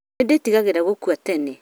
Nĩ ndĩtigagĩra gũkua tene